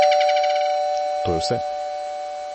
To je vse!